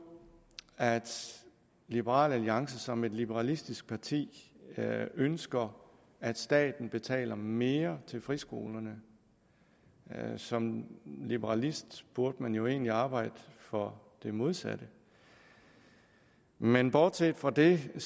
at liberal alliance som et liberalistisk parti ønsker at staten betaler mere til friskolerne som liberalist burde man jo egentlig arbejde for det modsatte men bortset fra det